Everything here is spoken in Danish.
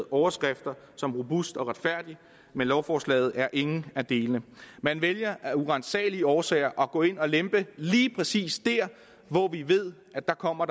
overskrifter som robust og retfærdig men lovforslaget er ingen af delene man vælger af uransagelige årsager at gå ind og lempe lige præcis dér hvor vi ved at der kommer